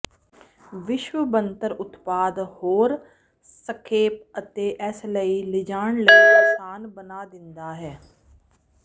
ਵਿਸ਼ੇਸ਼ ਬਣਤਰ ਉਤਪਾਦ ਹੋਰ ਸੰਖੇਪ ਅਤੇ ਇਸ ਲਈ ਲਿਜਾਣ ਲਈ ਆਸਾਨ ਬਣਾ ਦਿੰਦਾ ਹੈ